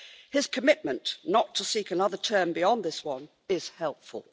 His commitment not to seek another term beyond this one is helpful.